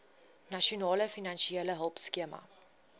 nasionale finansiële hulpskema